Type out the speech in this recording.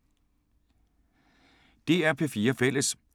DR P4 Fælles